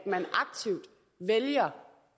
herre